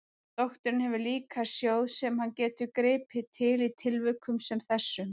Doktorinn hefur líka sjóð sem hann getur gripið til í tilvikum sem þessum.